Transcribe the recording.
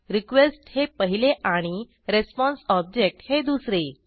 request हे पहिले आणि रिस्पॉन्स ऑब्जेक्ट हे दुसरे